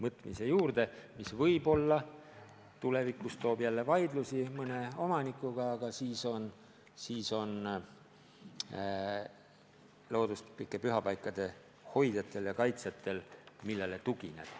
See võib-olla tulevikus toob kaasa vaidlusi mõne omanikuga, aga siis on looduslike pühapaikade hoidjatel ja kaitsjatel, millele tugineda.